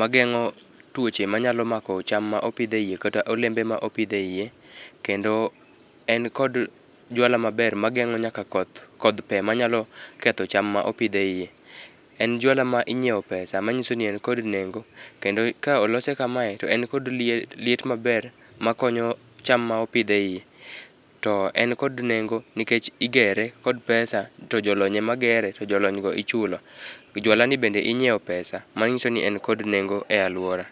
mageng'o tuoche manyalo mako cham ma opidhe iye kata olembe mopidhe iye, kendo en kod jwala maber mageng'o nyaka koth, kodh pee manyalo ketho cham mopidh e iye. En jwala minyiewo pesa manyiso ni en kpod nengo kendo ka olose kamae to en kod liet maber makonyo cham ma opidh e iye. To en kod nengo nikech igeree kod pesa to jolony ema gere to jolony go ichulo. Jwala ni bende inyiewo pesa, manyiso ni en kod nengo e aluora.